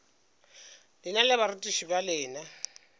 lena le barutiši ba lena